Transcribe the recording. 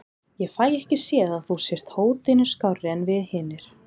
Ég fæ ekki séð að þú sért hótinu skárri en við hinir.